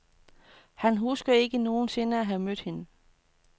Han husker ikke nogen sinde at have mødt hende.